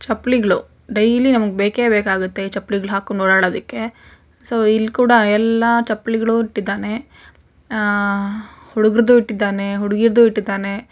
ಚಪ್ಪಲಿಗಳು daily ನಮಗೆ ಬೇಕೆ ಬೇಕಾಗುತ್ತೆ ಚಪ್ಪಲಿಗಳು ಹಾಕೊಂಡು ಓಡಾಡಲಿಕ್ಕೆ ಸೋ ಇಲ್ಲೂ ಕೂಡ ಎಲ್ಲಾ ಚಪ್ಪಲಿಗಳು ಇಟ್ಟಿದ್ದಾನೆ ಹುಡುಗರದ್ದನ್ನು ಇಟ್ಟಿದ್ದಾನೆ ಹುಡುಗಿಯರದನ್ನು ಇಟ್ಟಿದ್ದಾನೆ.